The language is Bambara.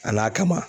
A n'a kama